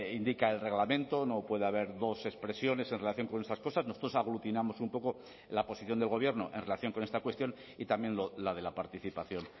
indica el reglamento no puede haber dos expresiones en relación con esas cosas nosotros aglutinamos un poco la posición del gobierno en relación con esta cuestión y también la de la participación